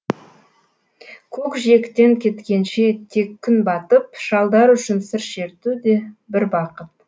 көкжиектен кеткенше тек күн батып шалдар үшін сыр шерту де бір бақыт